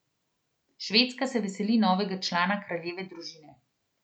Švedska se veseli novega člana kraljeve družine.